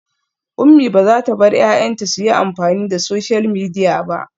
Umi bazata bar 'ya'yanta suyi amfani da social media ba